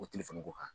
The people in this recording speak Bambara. O telefɔni ko kan